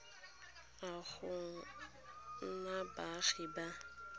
a go nna baagi ba